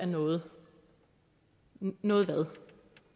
noget noget hvad